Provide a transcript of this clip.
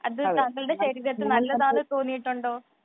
അത് താങ്കളുടെ ശരീരത്തിൽ നല്ലതായി തോന്നിയിട്ടുണ്ടോ